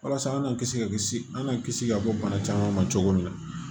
Walasa an kana kisi ka kisi an ka kisi ka bɔ bana caman ma cogo min na